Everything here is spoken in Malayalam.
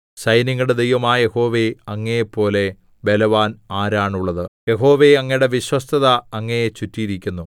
സൈന്യങ്ങളുടെ ദൈവമായ യഹോവേ അങ്ങയെ പോലെ ബലവാൻ ആരാണുള്ളത് യഹോവേ അങ്ങയുടെ വിശ്വസ്തത അങ്ങയെ ചുറ്റിയിരിക്കുന്നു